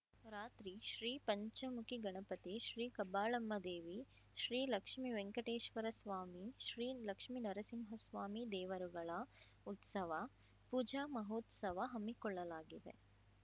ರಾತ್ರಿ ಶ್ರೀ ಪಂಚಮುಖಿ ಗಣಪತಿ ಶ್ರೀ ಕಬ್ಬಾಳಮ್ಮದೇವಿ ಶ್ರೀ ಲಕ್ಷ್ಮಿ ವೆಂಕಟೇಶ್ವರಸ್ವಾಮಿ ಶ್ರೀ ಲಕ್ಷ್ಮಿನರಸಿಂಹ ಸ್ವಾಮಿ ದೇವರುಗಳ ಉತ್ಸವ ಪೂಜಾ ಮಹೋತ್ಸವ ಹಮ್ಮಿಕೊಳ್ಳಲಾಗಿದೆ